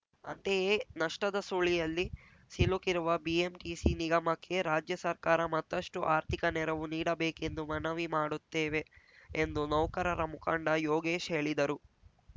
ಅಂತೆಯೆ ನಷ್ಟದ ಸುಳಿಯಲ್ಲಿ ಸಿಲುಕಿರುವ ಬಿಎಂಟಿಸಿ ನಿಗಮಕ್ಕೆ ರಾಜ್ಯ ಸರ್ಕಾರ ಮತ್ತಷ್ಟುಆರ್ಥಿಕ ನೆರವು ನೀಡಬೇಕೆಂದು ಮನವಿ ಮಾಡುತ್ತೇವೆ ಎಂದು ನೌಕರರ ಮುಖಂಡ ಯೋಗೇಶ್‌ ಹೇಳಿದರು